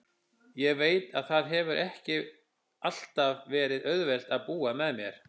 Ég veit að það hefur ekki alltaf verið auðvelt að búa með mér.